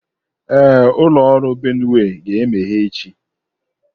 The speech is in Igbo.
Ee, ụlọ ọrụ Benue ga-emeghe echi.